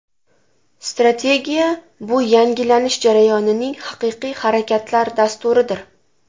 Strategiya – bu yangilanish jarayonlarining haqiqiy harakatlar dasturidir.